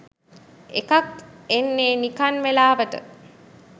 එකක් එන්නේ නිකන් වෙලාවට